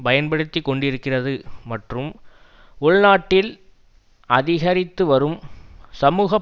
பயன்படுத்தி கொண்டிருக்கிறது மற்றும் உள்நாட்டில் அதிகரித்துவரும் சமூக